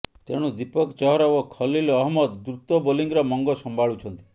ତେଣୁ ଦୀପକ ଚହର ଓ ଖଲୀଲ ଅହମ୍ମଦ ଦ୍ରୁତ ବୋଲିଂର ମଙ୍ଗ ସମ୍ଭାଳୁଛନ୍ତି